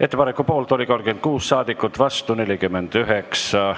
Ettepaneku poolt oli 36 ja vastu 49 saadikut.